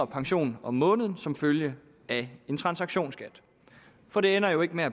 pension om måneden som følge af en transaktionsskat for det ender jo ikke med at